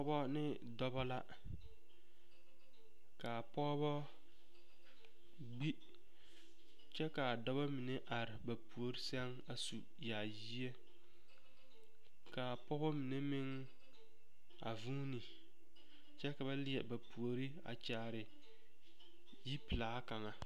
Pɔgɔ ne dɔbɔ la ka a pɔgebɔ gbi kyɛ ka a dɔbɔba mine are ba puori sɛŋ a su yaayie ka a pɔge mine meŋ a zuuni kyɛ ka ba leɛ ba puori a kyaare yipelaa kaŋa.